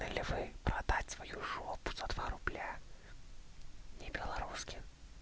ж за руб на белорусские